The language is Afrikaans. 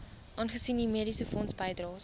aangesien u mediesefondsbydraes